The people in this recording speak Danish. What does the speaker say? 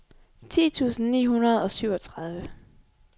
ti tusind ni hundrede og syvogtredive